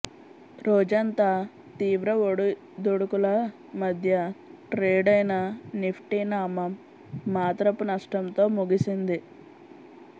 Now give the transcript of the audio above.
రోజంతా తీవ్ర ఒడుదుడుకుల మధ్య ట్రేడైన నిఫ్టి నామ మాత్రపు నష్టంతో ముగిసింది